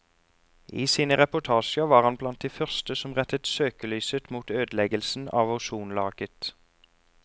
I sine reportasjer var han blant de første som rettet søkelyset mot ødeleggelsen av ozonlaget.